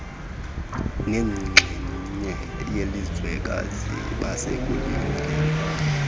nenxenye yelizwekazi basakulungele